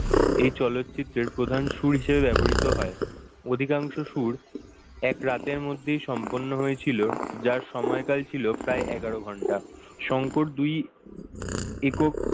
এই চলচ্চিত্রের প্রধান সুর হিসেবে ব্যবহৃত হয় অধিকাংশ সুর এক রাতের মধ্যেই সম্পন্ন হয়েছিল যার সময়কাল ছিল প্রায় এগার ঘণ্টা শংকর দুই একক,